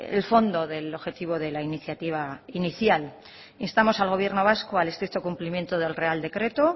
el fondo del objetivo de la iniciativa inicial instamos al gobierno vasco al estricto cumplimiento del real decreto